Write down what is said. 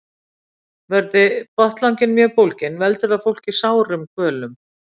Verði botnlanginn mjög bólginn veldur það fólki sárum kvölum.